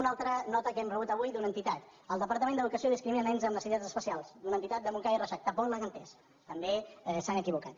una altra nota que hem rebut avui d’una entitat el departament d’educació discrimina nens amb necessitats especials d’una entitat de montcada i reixac tampoc l’han entès també s’han equivocat